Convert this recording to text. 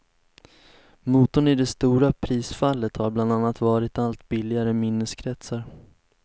Motorn i det stora prisfallet har bland annat varit allt billigare minneskretsar.